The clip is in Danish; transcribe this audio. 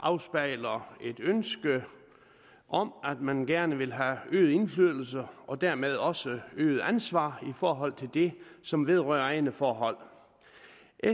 afspejler et ønske om at man gerne vil have øget indflydelse og dermed også øget ansvar i forhold til det som vedrører egne forhold